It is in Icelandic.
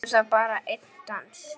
Gerðu það, bara einn dans.